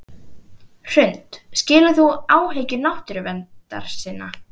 Hrund: Skilur þú áhyggjur náttúruverndarsinna?